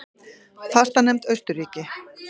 Fastanefnd Austurríki